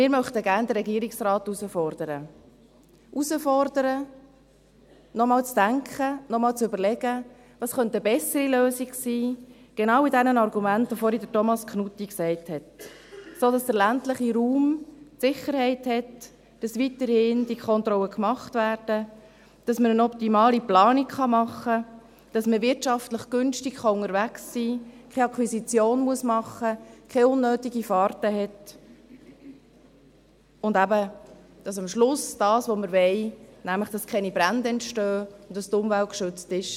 Wir möchten gerne den Regierungsrat herausfordern, ihn herausfordern, noch einmal zu denken, noch einmal zu überlegen, was eine bessere Lösung sein könnte, mit genau den Argumenten, welche Thomas Knutti genannt hat, sodass der ländliche Raum die Sicherheit hat, dass die Kontrollen weiterhin gemacht werden, damit man eine optimale Planung machen kann, damit man wirtschaftlich günstig unterwegs sein kann, keine Akquisition machen muss, keine unnötigen Fahrten hat, und damit am Schluss eben das entstehen kann, was wir wollen, nämlich dass keine Brände entstehen und dass die Umwelt geschützt ist.